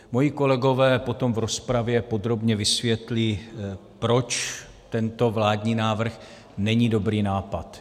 Moji kolegové potom v rozpravě podrobně vysvětlí, proč tento vládní návrh není dobrý nápad.